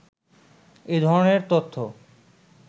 এ ধরনের তথ্য